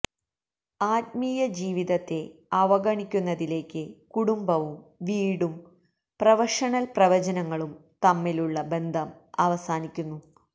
ആത്മീയജീവിതത്തെ അവഗണിക്കുന്നതിലേക്ക് കുടുംബവും വീടും പ്രൊഫഷണൽ പ്രവചനങ്ങളും തമ്മിലുള്ള ബന്ധം അവസാനിക്കുന്നു